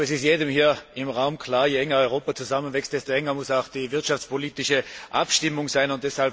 Es ist jedem hier im Raum klar Je enger Europa zusammenwächst, desto enger muss auch die wirtschaftspolitische Abstimmung sein.